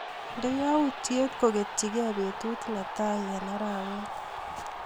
Inde yautyet koketyike betut netaii eng arawet.